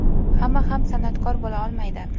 hamma ham san’atkor bo‘la olmaydi.